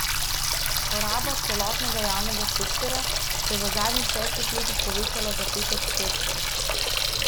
Poraba celotnega javnega sektorja se je v zadnjih šestih letih povečala za pet odstotkov.